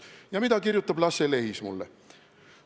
Ja mida kirjutas mulle Lasse Lehis?